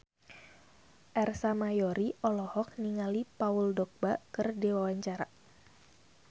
Ersa Mayori olohok ningali Paul Dogba keur diwawancara